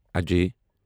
Ajay